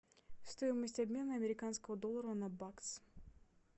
стоимость обмена американского доллара на бакс